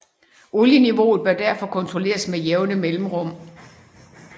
Olieniveauet bør derfor kontrolleres med jævne mellemrum